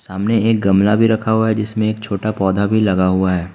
सामने एक गमला भी रखा हुआ है जिसमें एक छोटा पौधा भी लगा हुआ है।